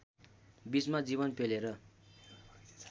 बीचमा जीवन पेलेर